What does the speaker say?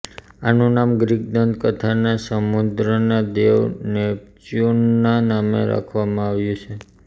આનું નામ ગ્રીક દંત કથાના સમુદ્રના દેવ નેપચ્યુનના નામે રાખવામાં આવ્યું છે